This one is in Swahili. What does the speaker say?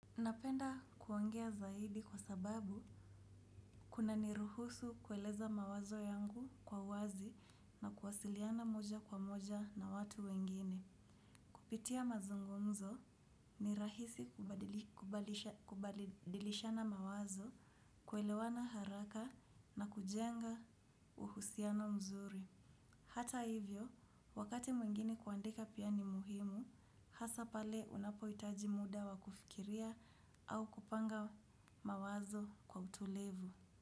Napenda kuongea zaidi kwa sababu kunaniruhusu kueleza mawazo yangu kwa wazi na kuwasiliana moja kwa moja na watu wengine. Kupitia mazungumzo ni rahisi kubadilishana mawazo, kuelewana haraka na kujenga uhusiana mzuri. Hata hivyo, wakati mwingine kuandika pia ni muhimu, hasaa pale unapohitaji muda wa kufikiria au kupanga mawazo kwa utulivu.